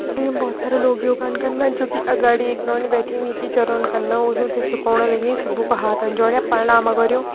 ई बहोत सारा लोग योगान कना जोकि अगाड़ी एक नौनी बैठीं वीं की सिखोण लगीं सबूका हाथन जोरयां परणाम करयूं।